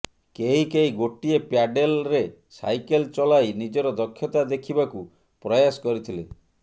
କେହି କେହି ଗୋଟିଏ ପ୍ୟାଡେଲ୍ରେ ସାଇକେଲ୍ ଚଲାଇ ନିଜର ଦକ୍ଷତା ଦେଖିବାକୁ ପ୍ରୟାସ କରିଥିଲେ